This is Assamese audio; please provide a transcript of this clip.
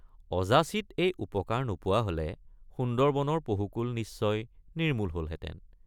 অযাচিত এই উপকাৰ নোপোৱা হলে সুন্দৰবনৰ পহুকুল নিশ্চয় নিৰ্মূল হলহেঁতেন।